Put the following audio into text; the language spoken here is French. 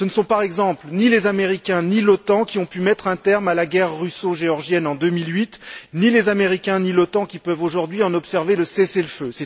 Par exemple, ce ne sont ni les Américains ni l'OTAN qui ont pu mettre un terme à la guerre russo géorgienne en 2008, ni les Américains, ni l'OTAN qui peuvent aujourd'hui en observer le cessez le feu.